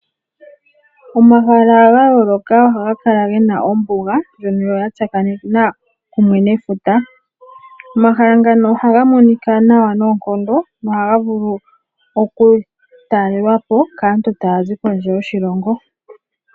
Omahala ga yooloka ohaga kala ge na ombuga ndjoka ya tsakanena kumwe nefuta. Omahala ngaka oha ga monika nawa noonkondo na ohaga vulu okutalelwa po kaantu taya zi kondje yoshilongo.